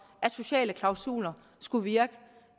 at sociale klausuler skulle virke og